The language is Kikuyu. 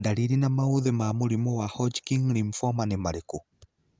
Ndariri na maũthĩ ma mũrimũ wa Hodgkin lymphoma nĩ marĩkũ?